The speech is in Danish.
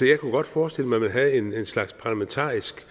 jeg kunne godt forestille mig at man havde en slags parlamentarisk